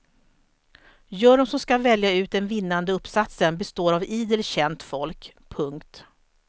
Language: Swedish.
Juryn som ska välja ut den vinnande uppsatsen består av idel känt folk. punkt